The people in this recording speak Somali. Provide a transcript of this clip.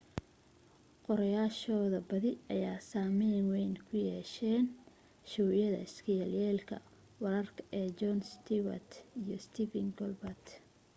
qoraayaashooda badi ayaa saamayn wayn ku yeesheen showyada iska yelyeelka wararka ee jon stewart iyo stephen colbert